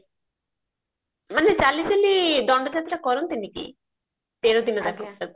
ମାନେ ଚାଲି ଚାଲି ଦଣ୍ଡ ଯାତ୍ରା କରନ୍ତିନି କି ତେର ଦିନ ଯାକ